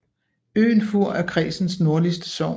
Øen Fur er kredsens nordligste sogn